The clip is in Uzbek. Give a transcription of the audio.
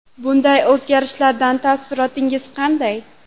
Bunday o‘zgarishlardan taassurotlaringiz qanday?